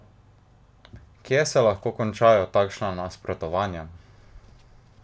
Kje se lahko končajo takšna nasprotovanja?